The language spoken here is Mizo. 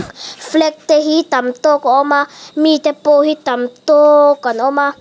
flag te hi tam tawk a awm a mi te pawh hi tam tawkkkk an awm a.